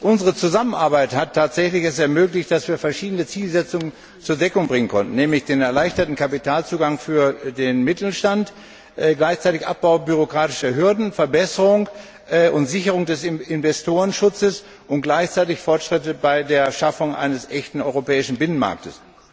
Unsere Zusammenarbeit hat es tatsächlich ermöglicht, dass wir verschiedene Zielsetzungen zur Deckung bringen konnten, nämlich den erleichterten Kapitalzugang für den Mittelstand, gleichzeitig den Abbau bürokratischer Hürden, die Verbesserung und Sicherung des Investorenschutzes und gleichzeitig Fortschritte bei der Schaffung eines echten europäischen Binnenmarktes.